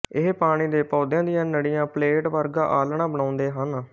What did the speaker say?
ਇਹ ਪਾਣੀ ਦੇ ਪੌਦਿਆ ਦੀਆਂ ਨੜੀਆਂ ਪਲੇਟ ਵਰਗਾ ਆਲ੍ਹਣਾ ਬਣਾਉਂਦੇ ਹਨ